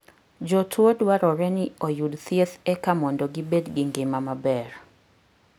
Jotuo dwarore ni oyud thieth eka mondo gibed gi ngima maber